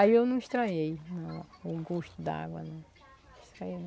Aí eu não estranhei não o gosto da água, não.